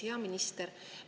Hea minister!